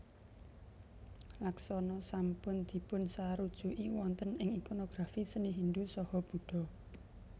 Laksana sampun dipunsarujuki wonten ing ikonografi seni Hindu saha Buddha